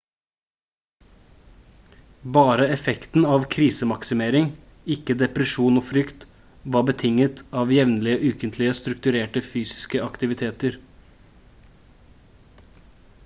bare effekten av krisemaksimering ikke depresjon og frykt var betinget av jevnlige ukentlige strukturerte fysiske aktiviteter